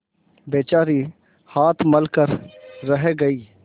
बेचारी हाथ मल कर रह गयी